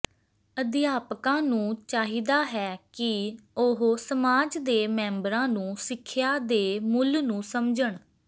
ਅਧਿਆਪਕਾਂ ਨੂੰ ਚਾਹੀਦਾ ਹੈ ਕਿ ਉਹ ਸਮਾਜ ਦੇ ਮੈਂਬਰਾਂ ਨੂੰ ਸਿੱਖਿਆ ਦੇ ਮੁੱਲ ਨੂੰ ਸਮਝਣ